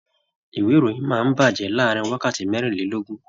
Ìwé ìròyìn máa n bajẹ láàrin wákàtí merinlelogun.